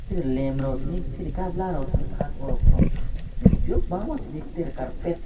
lem rok tini tide kabla paltono chong nogpio bangma tini tere karpet.